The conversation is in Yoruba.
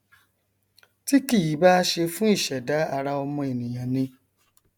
tí kìí bá ṣe fún ìṣẹdá ara ọmọ ènìà ni